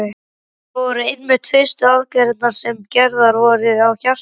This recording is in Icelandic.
Þetta voru einmitt fyrstu aðgerðirnar sem gerðar voru á hjarta.